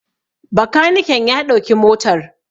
Bakaniken ya ɗauki motar